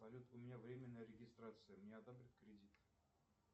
салют у меня временная регистрация мне одобрят кредит